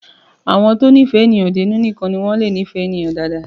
Àwọn tó ní ìfé èèyàn dénú nìkan ní wọ́n lé fẹ́ràn èèyan dáadáa.